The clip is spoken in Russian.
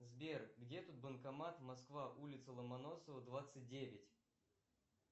сбер где тут банкомат москва улица ломоносова двадцать девять